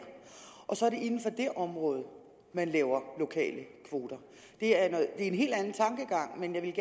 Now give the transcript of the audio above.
og så er det inden for det område man laver lokale kvoter det er en helt anden tankegang men jeg vil